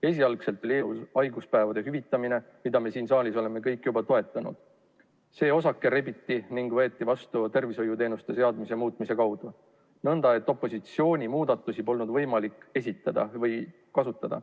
Esialgu oli eelnõus haiguspäevade hüvitamine, mida me siin saalis oleme kõik juba toetanud, aga see osake rebiti küljest ning võeti vastu tervishoiuteenuste seaduse muutmise kaudu nõnda, et opositsioonil polnud võimalik seniseid muudatusettepanekuid uuesti esitada.